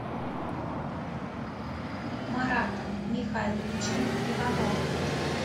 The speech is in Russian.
маратом михайловичем ивановым